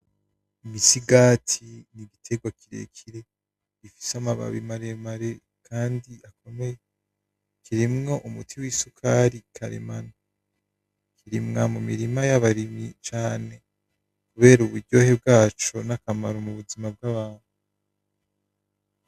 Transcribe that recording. Imisigati ni igiterwa kirekire gifise amababi maremare kandi akomeye. Kirimwo umuti w'isukari karemano. Irimwa mu mirima y'abarimyi cane kubera uburyohe bwaco n'akamaro mu buzima bw'abantu. .